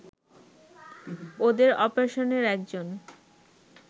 ওদের অপারেশনের একজন